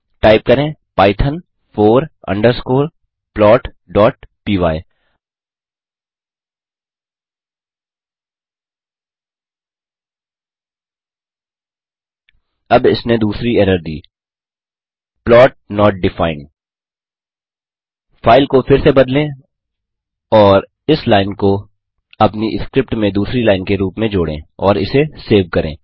type करें python four underscore plotपाय अब इसने दूसरी एरर दी प्लॉट नोट डिफाइंड फाइल को फिर से बदलें और इस लाइन को अपनी स्क्रिप्ट में दूसरी लाइन के रूप में जोड़ें और इसे सेव करें